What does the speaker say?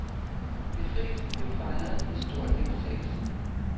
Befrielsen blev fejret med stor deltagelse.